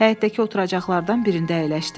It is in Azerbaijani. Həyətdəki oturacaqlardan birində əyləşdi.